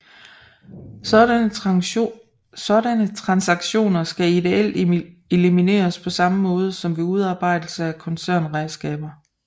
Sådanne transaktioner skal ideelt elimineres på samme måde som ved udarbejdelse af koncernregnskaber